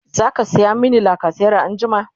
zaka saya mini lacasera anjima?